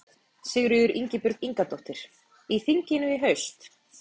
Sigríður Ingibjörg Ingadóttir: Í þinginu í haust?